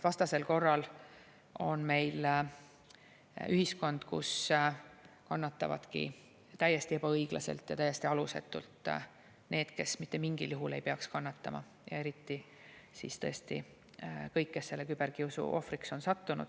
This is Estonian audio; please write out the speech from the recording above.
Vastasel korral on meil ühiskond, kus täiesti ebaõiglaselt ja täiesti alusetult kannatavadki need, kes mitte mingil juhul ei peaks kannatama, eriti kõik need, kes selle küberkiusu ohvriks on sattunud.